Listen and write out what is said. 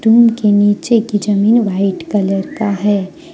उनके नीचे की जमीन व्हाइट कलर का है।